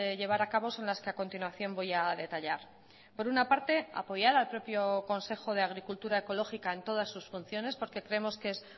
llevar a cabo son las que a continuación voy a detallar por una parte apoyar al propio consejo de agricultura ecológica en todas sus funciones porque creemos que es